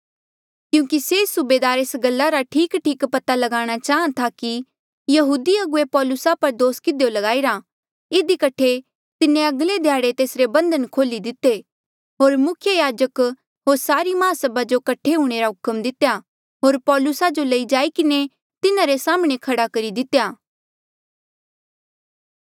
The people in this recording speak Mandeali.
क्यूंकि से सूबेदार एस गल्ला रा ठीकठीक पता ल्गाणा चाहां था कि यहूदी अगुवे पौलुसा पर दोस किधियो ल्गाईरा इधी कठे तिन्हें अगले ध्याड़े तेसरे बंधन खोल्ही दिते होर मुख्य याजक होर सारी माहसभा जो कठे हूंणे रा हुक्म दितेया होर पौलुसा जो लई जाई किन्हें तिन्हारे साम्हणें खड़ा करी दितेया